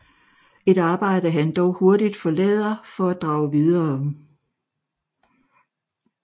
Et arbejde han dog hurtigt forlader for at drage videre